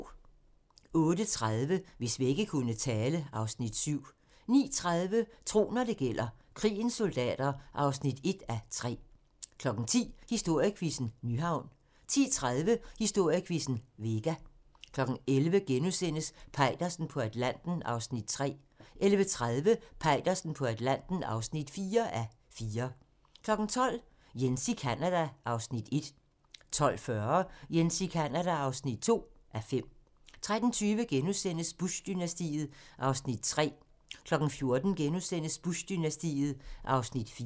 08:30: Hvis vægge kunne tale (Afs. 7) 09:30: Tro, når det gælder: Krigens soldater (1:3) 10:00: Historiequizzen: Nyhavn 10:30: Historiequizzen: Vega 11:00: Peitersen på Atlanten (3:4)* 11:30: Peitersen på Atlanten (4:4) 12:00: Jens i Canada (1:5) 12:40: Jens i Canada (2:5) 13:20: Bush-dynastiet (3:6)* 14:00: Bush-dynastiet (4:6)*